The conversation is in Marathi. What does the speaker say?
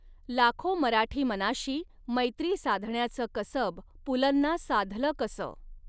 लाखो मराठी मनाशी मैत्री साधण्याच कसब पुलंना साधल कस